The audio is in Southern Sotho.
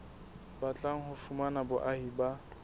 batlang ho fumana boahi ba